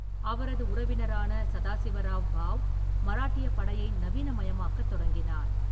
அவரது உறவினரான சதாசிவராவ் பாவ், மராட்டியப் படையை நவீனமயமாக்கத் தொடங்கினார்.